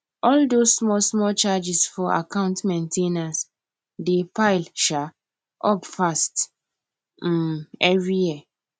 all those smallsmall charges for account main ten ance dey pile um up fast um every year